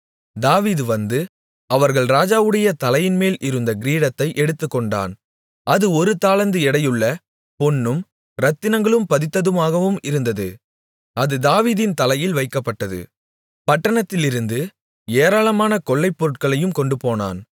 தாவீது வந்து அவர்கள் ராஜாவுடைய தலையின்மேல் இருந்த கிரீடத்தை எடுத்துக்கொண்டான் அது ஒரு தாலந்து எடையுள்ள பொன்னும் இரத்தினங்கள் பதித்ததுமாகவும் இருந்தது அது தாவீதின் தலையில் வைக்கப்பட்டது பட்டணத்திலிருந்து ஏராளமான கொள்ளைப் பொருட்களையும் கொண்டுபோனான்